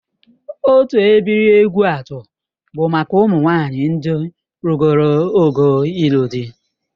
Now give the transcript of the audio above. Otu ebiri Egwuatu bụ maka ụmụnwaanyị ndị rugoro ogo ịlụ di